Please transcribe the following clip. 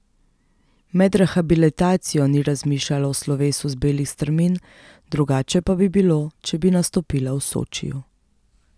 Med rehabilitacijo ni razmišljala o slovesu z belih strmin, drugače pa bi bilo, če bi nastopila v Sočiju.